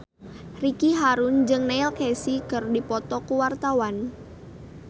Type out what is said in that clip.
Ricky Harun jeung Neil Casey keur dipoto ku wartawan